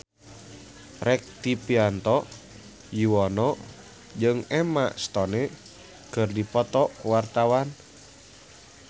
Rektivianto Yoewono jeung Emma Stone keur dipoto ku wartawan